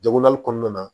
Jagoyali kɔnɔna na